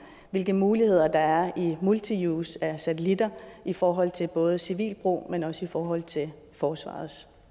hvilke muligheder der er i multiuse af satellitter i forhold til både civil brug men også i forhold til forsvarets